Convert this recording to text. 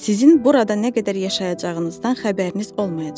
Sizin burada nə qədər yaşayacağınızdan xəbəriniz olmayacaq.